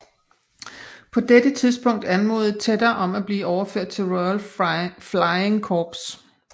På dette tidspunkt anmodede Tedder om at blive overført til Royal Flying Corps